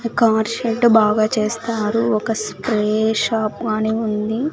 Car shed బాగా చేస్తారు ఒక స్ప్రే షాప్ అని ఉంది.